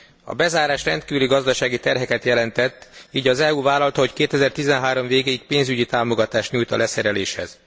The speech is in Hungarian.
A bezárás rendkívüli gazdasági terheket jelentett, így az EU vállalta, hogy 2013 végéig pénzügyi támogatást nyújt a leszereléshez.